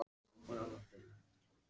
Hann hrökk við og vék til hliðar.